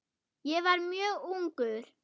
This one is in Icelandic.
Ég var mjög ungur.